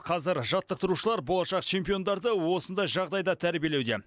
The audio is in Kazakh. қазір жаттықтырушылар болашақ чемпиондарды осындай жағдайда тәрбиелеуде